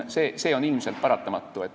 See on ilmselt paratamatu.